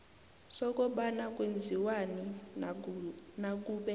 sokobana kwenziwani nakube